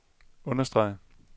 understreg